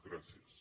gràcies